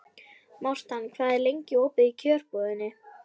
Mortan, hvað er lengi opið í Kjörbúðinni?